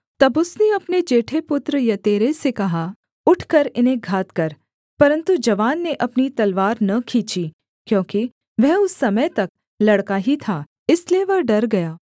तब उसने अपने जेठे पुत्र यतेरे से कहा उठकर इन्हें घात कर परन्तु जवान ने अपनी तलवार न खींची क्योंकि वह उस समय तक लड़का ही था इसलिए वह डर गया